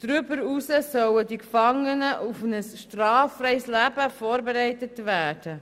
Darüber hinaus sollen die Gefangenen auf ein straffreies Leben vorbereitet werden.